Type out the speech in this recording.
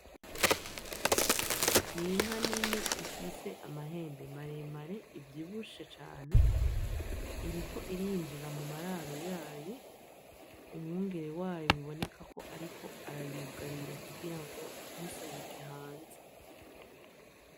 N'inka nini ifise amahembe maremare, ivyibushe cane. Iriko irinjira mu mararo yayo. Umwungere wayo biboneka ko ariko arayugarira kugira ngo ntisohoke hanze.